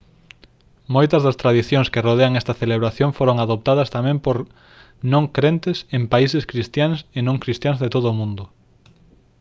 moitas das tradicións que rodean esta celebración foron adoptadas tamén por non crentes en países cristiáns e non cristiáns de todo o mundo